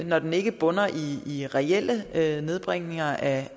når den ikke bunder i reelle nedbringelser af